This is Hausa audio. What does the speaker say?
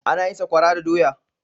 Ana yin tsakwara da doya.